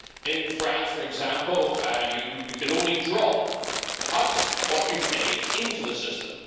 In France, for example, you can only draw out what you pay into the system.